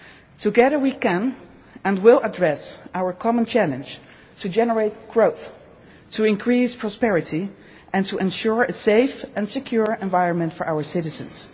Together we can and will address our common challenge to generate growth, to increase prosperity, and to ensure a safe and secure environment for our citizens.